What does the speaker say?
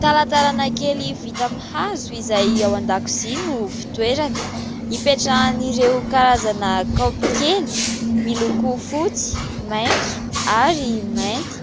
Talatalana kely vita amin'ny hazo izay ao an-dakozia no fitoerany, ipetrahan'ireo karazana kaopy kely miloko fotsy, maitso ary mainty.